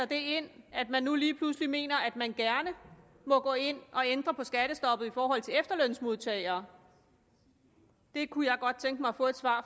det ind at man nu lige pludselig mener at man gerne må gå ind og ændre på skattestoppet i forhold til efterlønsmodtagere det kunne jeg godt tænke mig at få et svar